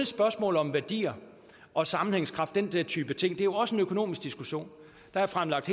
spørgsmål om værdier og sammenhængskraft den der type ting det er også en økonomisk diskussion der er fremlagt